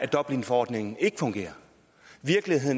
dublinforordningen